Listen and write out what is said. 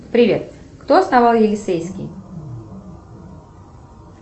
привет кто основал елисейский